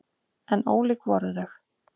En ólík voru þau.